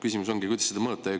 Küsimus ongi, kuidas seda mõõta.